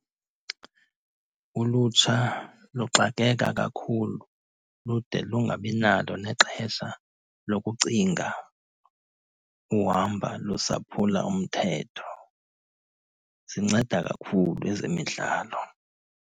Ulutsha luxakeka kakhulu lude lungabi nalo nexesha lokucinga uhamba lusaphula umthetho. Zinceda kakhulu ezemidlalo.